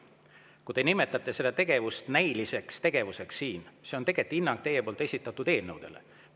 Kui te nimetate seda tegevust siin näiliseks, siis see on tegelikult teie hinnang esitatud eelnõudele.